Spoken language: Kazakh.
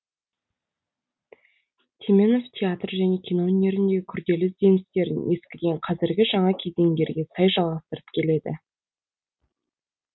теменов театр және кино өнеріндегі күрделі ізденістерін ескіден қазіргі жаңа кезеңдерге сай жалғастырып келеді